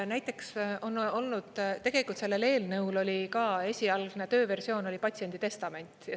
Näiteks on olnud, tegelikult sellel eelnõul oli ka, esialgne tööversioon oli patsiendi testament.